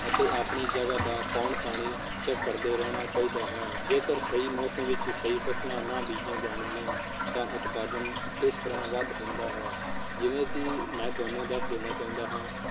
ਅਤੇ ਆਪਣੀ ਜਗਾਹ ਦਾ ਪਾਉਣ ਪਾਣੀ ਕਰਦੇ ਰਹਿਣਾ ਚਾਹੀਦਾ ਹੈ ਜੇਕਰ ਸਹੀ ਮੌਸਮ ਵਿਚ ਸਹੀ ਫਸਲਾਂ ਨਾ ਬੀਜੀਆਂ ਜਾਣਗੀਆਂ ਤਾਂ ਉਤਪਾਦਨ ਕਿਸ ਤਰਾਹ ਵੱਧ ਹੁੰਦਾ ਹੈ, ਜਿਵੇਂ ਕਿ ਮੈਂ ਤੁਹਾਨੂੰ ਦੱਸ ਦੇਣਾ ਚਾਹੁੰਦਾ ਹਾਂ